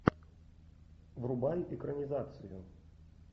врубай экранизацию